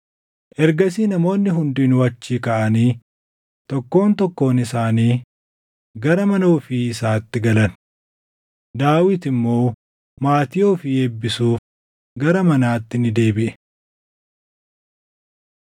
Ergasii namoonni hundinuu achii kaʼanii tokkoon tokkoon isaanii gara mana ofii isaatti galan; Daawit immoo maatii ofii eebbisuuf gara manaatti ni deebiʼe.